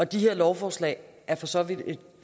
de her lovforslag er for så vidt et